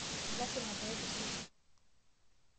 Lasima pee kisuji.